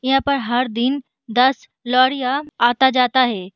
यहाँ पर हर दिन दस लॉरिया आता जाता है।